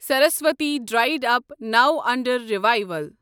سرس وتی dried up, no under رِیویٖول